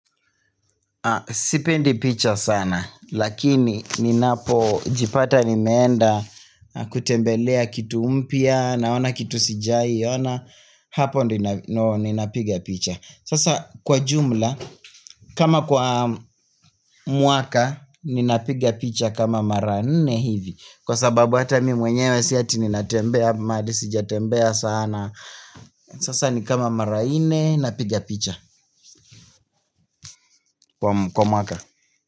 Sipendi picha sana lakini ninapo jipata nimeenda kutembelea kitu mpya naona kitu sijai ona hapo ndio ninapigia picha. Sasa kwa jumla kama kwa mwaka ninapiga picha kama mara nne hivi kwa sababu hata mimi mwenyewe si ati ninatembea mahali sijatembea sana. Sasa ni kama mara nne napiga picha kwa mwaka.